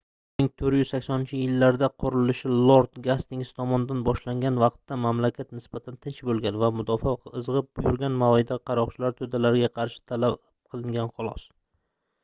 1480-yillarda qurilishi lord gastings tomonidan boshlangan vaqtda mamlakat nisbatan tinch boʻlgan va mudofaa izgʻib yurgan mayda qaroqchilar toʻdalariga qarshi talab qilingan xolos